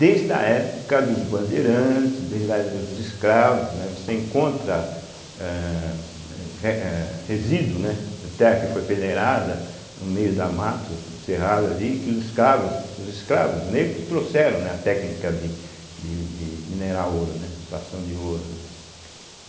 desde a época dos bandeirantes, desde a época dos dos escravos, né, você encontra, âh, eh re âh resíduos, né, de terra que foi peneirada no meio da mata ou do cerrado ali, que os escravos, os escravos negros trouxeram, né, a técnica de de de minerar ouro, né extração de ouro.